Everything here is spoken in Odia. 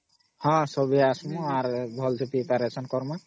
ହଁ ସମସ୍ତେ ଆସିବୁ ଭଲ ସେPreparation କରମା